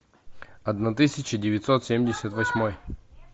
одна тысяча девятьсот семьдесят восьмой